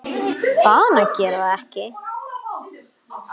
Bað hann að gera það ekki.